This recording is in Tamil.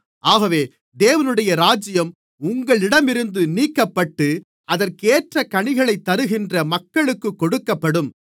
ஆகவே தேவனுடைய ராஜ்யம் உங்களிடமிருந்து நீக்கப்பட்டு அதற்கேற்ற கனிகளைத் தருகின்ற மக்களுக்குக் கொடுக்கப்படும்